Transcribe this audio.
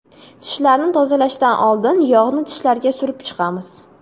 Tishlarni tozalashdan oldin, yog‘ni tishlarga surib chiqamiz.